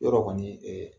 Yɔrɔ kɔni